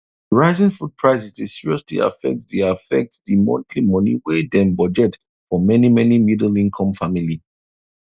rising food prices dey seriously affect di affect di monthly money wy dem budget for many many middle income family